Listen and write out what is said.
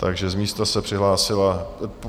Takže z místa se přihlásila...